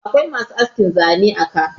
akwai masu askin Zane a ka